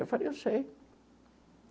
Eu falei, eu sei.